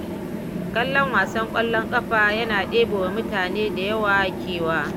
Kallon wasan ƙwallon ƙafa yana ɗebewa mutane da yawa kewa.